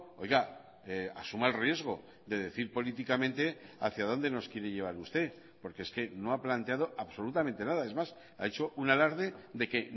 oiga asuma el riesgo de decir políticamente hacia dónde nos quiere llevar usted porque es que no ha planteado absolutamente nada es más ha hecho un alarde de que